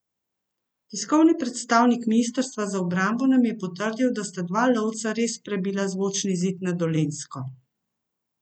Tiskovni predstavnik ministrstva za obrambo nam je potrdil, da sta dva lovca res prebila zvočni zid nad Dolenjsko.